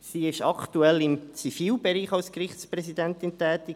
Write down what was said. Sie ist aktuell im Zivilbereich als Gerichtspräsidentin tätig: